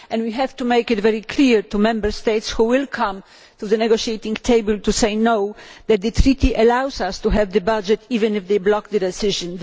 We have to make it very clear to the Member States who will come to the negotiating table to say no that the Treaty allows us to have the budget even if they block the decision.